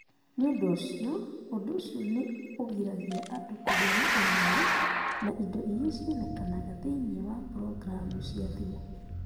Nĩ ũndũ ũcio, ũndũ ũcio nĩ ũgiragia andũ kũgĩa na ũmenyo na indo iria cionekanaga thĩinĩ wa programu cia thimũ.